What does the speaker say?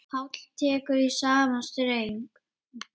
Páll tekur í sama streng.